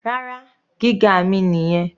Rárá, gíga mi nìyẹn.